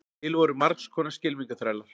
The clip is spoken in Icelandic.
til voru margs konar skylmingaþrælar